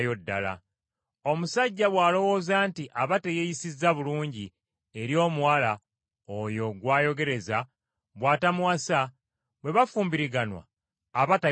Omusajja bw’alowooza nti aba teyeeyisizza bulungi eri omuwala oyo gw’ayogereza bw’atamuwasa, bwe bafumbiriganwa, aba tayonoonye.